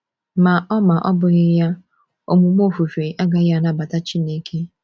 Ma ọ Ma ọ bụghị ya, omume ofufe agaghị anabata Chineke.